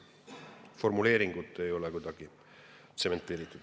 Formuleeringud ei ole meie jaoks kuidagi tsementeeritud.